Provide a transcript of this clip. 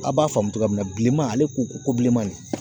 A b'a faamu cogo min na bilenman ale ko ko bilenman de